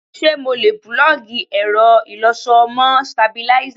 Ṣé mo lè púlọ́ọ̀gì ẹ̀rọ ìlọṣọ mọ́ stabilízà?